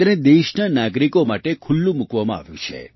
તેને દેશના નાગરિકો માટે ખુલ્લું મૂકવામાં આવ્યું છે